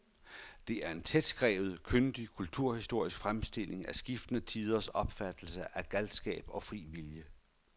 Det er en tætskrevet, kyndig kulturhistorisk fremstilling af skiftende tiders opfattelse af galskab og fri vilje.